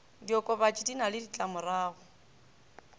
diokobatši di na le ditlamorago